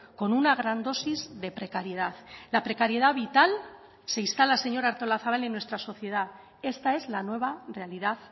con una gran dosis de precariedad la precariedad vital se instala señora artolazabal en nuestra sociedad esta es la nueva realidad